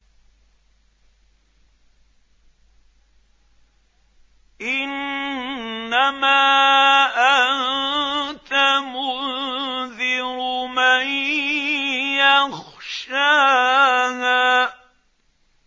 إِنَّمَا أَنتَ مُنذِرُ مَن يَخْشَاهَا